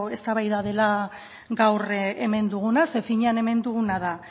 eztabaida dela gaur hemen duguna zeren finean hemen duguna da